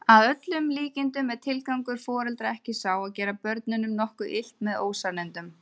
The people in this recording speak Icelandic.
Að öllum líkindum er tilgangur foreldra ekki sá að gera börnunum nokkuð illt með ósannindunum.